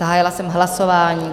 Zahájila jsem hlasování.